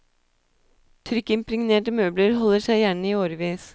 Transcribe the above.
Trykkimpregnerte møbler holder seg gjerne i årevis.